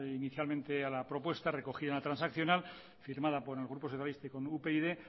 inicialmente a la propuesta recogida en la transaccional firmada por el grupo socialista y con upyd